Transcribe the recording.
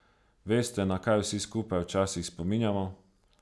Veste, na kaj vsi skupaj včasih spominjamo?